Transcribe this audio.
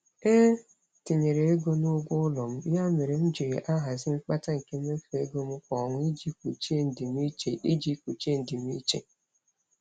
E tinyere ego n'ụgwọ ụlọ m, ya mere m jị ahazi mkpata nke mmefu ego m kwa ọnwa iji kpuchie ndimiiche. iji kpuchie ndimiiche.